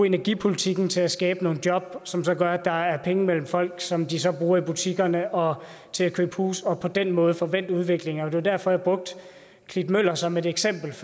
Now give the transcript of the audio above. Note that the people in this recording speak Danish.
energipolitikken til at skabe nogle job som som gør at der er penge mellem folk som de så bruger i butikkerne og til at købe huse og på den måde få vendt udviklingen og det var derfor jeg brugte klitmøller som et eksempel